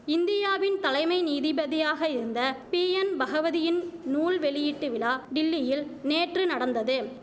இந்தியாவின் தலைமை நீதிபதியாக இருந்த பீஎன் பகவதியின் நூல் வெளியீட்டு விலா டில்லியில் நேற்று நடந்தது